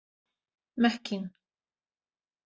Mekkín